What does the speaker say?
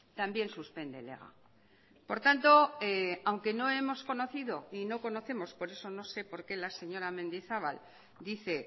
también suspende el ega por tanto aunque no hemos conocido y no conocemos or eso no sé por qué la señora mendizabal dice